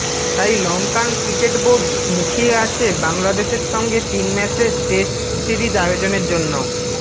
তাই Lankan cricket board মুখিয়ে আছে বাংলাদেশের সঙ্গে তিন ম্যাচের টেস্ট সিরিজ আয়োজনের জন্য